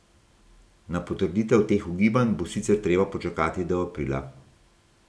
Na potrditev teh ugibanj bo sicer treba počakati do aprila.